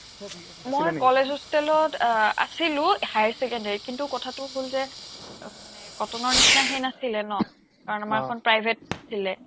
মই college hostel ত আহ আছিলো higher secondary ত কিন্তু কথাটো হ'ল যে মানে কটনৰ নিচিনা হেৰি নাছিলে ন কাৰণ আমাৰখন private আছিলে